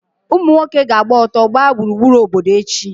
Ụmụ nwoke ga-agba ọtọ gbaa gburugburu obodo echi.